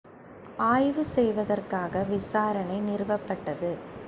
ஆய்வு செய்வதற்காக விசாரணை நிறுவப்பட்டது